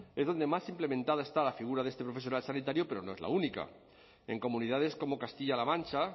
es donde más implementada está la figura de este profesional sanitario pero no es la única en comunidades como castilla la mancha